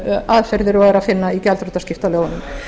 aðferðir og er að finna í gjaldþrotaskiptalögunum